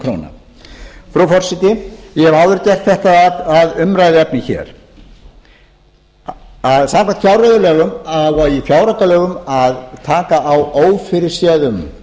króna frú forseti ég hef áður gert þetta að umræðuefni hér samkvæmt fjárreiðulögum á í fjáraukalögum að taka á ófyrirséðum